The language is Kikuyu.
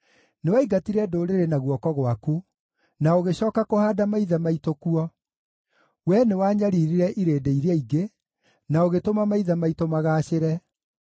Nĩwaingatire ndũrĩrĩ na guoko gwaku, na ũgĩcooka kũhaanda maithe maitũ kuo; Wee nĩwanyariirire irĩndĩ iria ingĩ, na ũgĩtũma maithe maitũ magaacĩre.